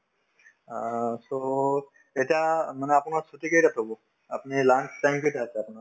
অ, so এতিয়া মানে আপোনাৰ ছুটী কেইটাত হব আপুনি lunch time কেইটাত আপোনাৰ